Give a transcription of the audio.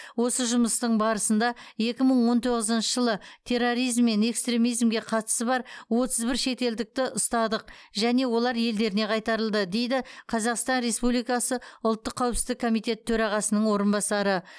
осы жұмыстың барысында екі мың он тоғызыншы жылы терроризм мен экстремизимге қатысы бар отыз бір шетелдікті ұстадық және олар елдеріне қайтарылды дейді қазақстан республикасы ұлттық қауіпсіздік комитеті төрағасының орынбасары